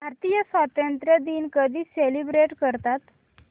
भारतीय स्वातंत्र्य दिन कधी सेलिब्रेट करतात